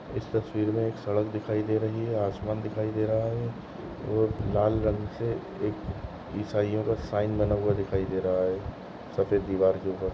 इस तस्वीर मे सड़क दिखाई दे रही है आसमान दिखाई दे रह है और लाल रंग से ईसाईओ का साइन बना हुआ दिखाई दे रहा है सफेद दीवार के ऊपर।